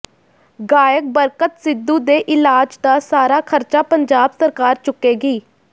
ਗਾਇਕ ਬਰਕਤ ਸਿੱਧੂ ਦੇ ਇਲਾਜ ਦਾ ਸਾਰਾ ਖਰਚਾ ਪੰਜਾਬ ਸਰਕਾਰ ਚੁੱਕੇਗੀ